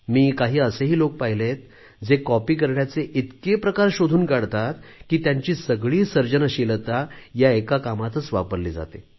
मी काही असे लोकही पाहिले आहेत जे कॉपी करण्याचे इतके प्रकार शोधून काढतात की त्यांची सगळी सर्जनशीलता या एका कामातच वापरली जाते